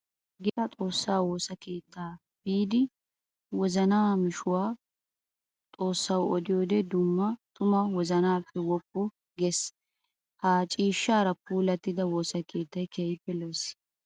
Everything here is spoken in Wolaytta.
Geeshsha xoosa woosa keetta biidi wozanna mishuwa xoosay oddiyoode tuma wozanappe woppu geesi! Ha ciishshara puulattiddi woosa keettay keehippe lo'ees.